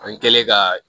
An kɛlen ka